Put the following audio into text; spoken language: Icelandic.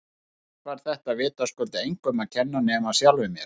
Og allt var þetta vitaskuld engum að kenna nema sjálfum mér!